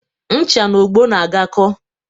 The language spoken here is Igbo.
Ncha na ogbo na-agakọ